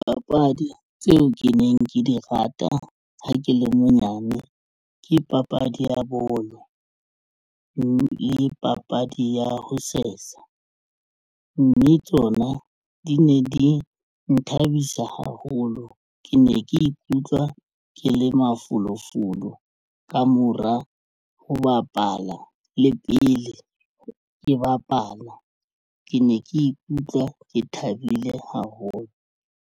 Papadi tseo ke neng ke di rata ha ke le monyane ke papadi ya bolo le papadi ya ho sesa, mme tsona di ne di nthabisa haholo. Ke ne ke ikutlwa ke le mafolofolo ka mora ho bapala le pele ke bapala ke ne ke ikutlwa ke thabile haholo.